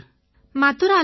மதுராவிலங்க